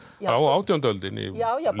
á átjándu öldinni